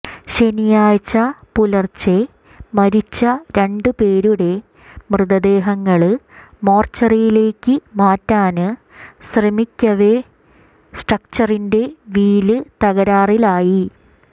ശനിയാഴ്ച പുലര്ച്ചെ മരിച്ച രണ്ടു പേരുടെ മൃതദേഹങ്ങള് മോര്ച്ചറിയിലേക്ക് മാറ്റാന് ശ്രമിക്കവെ സ്ട്രെക്ചറിന്റെ വീല് തകരാറിലായി